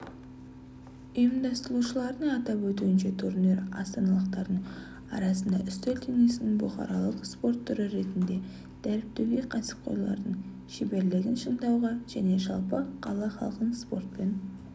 ұйымдастырушылардың атап өтуінше турнир астаналықтардың арасында үстел теннисін бұқаралық спорт түрі ретінде дәріптеуге кәсіпқойлардың шеберлігін шыңдауға және жалпы қала халқын спортпен